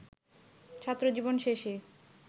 ছাত্রজীবন শেষে